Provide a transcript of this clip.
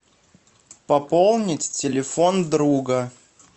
пополнить телефон друга